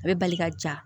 A bɛ bali ka ja